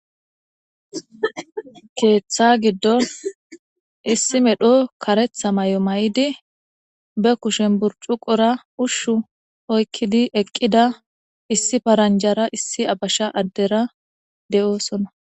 keeththa giddon issi medho karetha may7o may7idi be kushen bur cuqora ushshu oykkidi eqqida issi paranjara issi abasha addera de7oosona